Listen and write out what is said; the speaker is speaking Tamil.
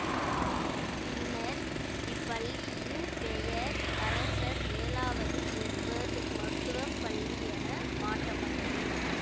பின்னர் இப்பள்ளியின் பெயர் அரசர் ஏழாவது எட்வர்டு மருத்துவ பள்ளி என மாற்றப்பட்டது